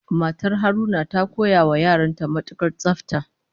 Matar Haruna ta koya wa yaran ta matukar tsafta